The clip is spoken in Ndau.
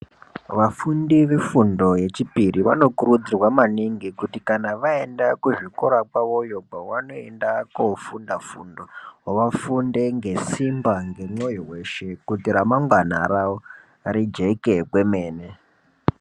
Vafundi vefundo yechipiri vanokurudzirwa maningi kuti kana vaenda kuzvikora kwavoyo kwavanoenda kofunda fundo. Vafunde ngesimba ngemwoyo veshe kuti ramangwana ravo rijeke kwemene.